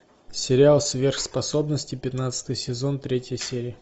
сериал сверхспособности пятнадцатый сезон третья серия